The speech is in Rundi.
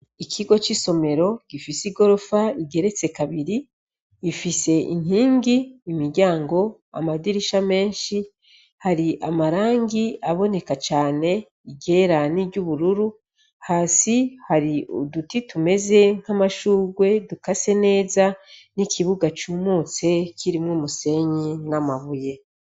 Ikigo c'isomero gifise igorofa igeretse kabiri , ifise inkinki, imiryango, amadirisha menshi , hari amarangi aboneka cane , iryera n'iryubururu, hasi hari uduti tumeze nkamashugwe dukase neza ,n'ikibuga cumutse kirimw'umusenyi n'amabuye.